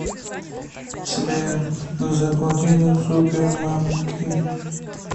сбер заплати за супермамки